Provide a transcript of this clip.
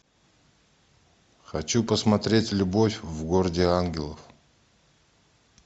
хочу посмотреть любовь в городе ангелов